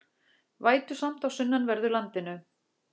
Vætusamt á sunnanverðu landinu